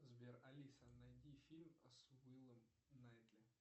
сбер алиса найди фильм с уиллом найтли